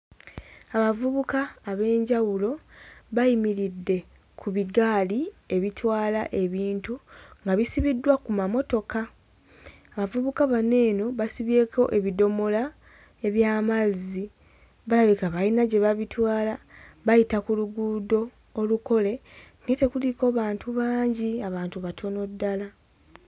Abavubuka ab'enjawulo bayimiridde ku bigaali ebitwala ebintu nga bisibiddwa ku mamotoka abavubuka bano eno basibyeko ebidomola eby'amazzi balabika bayina gye babitwala bayita ku luguudo olukole naye tekuliiko bantu bangi abantu batono ddala.